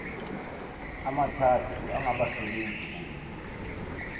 amathathu angabasebenzi kunye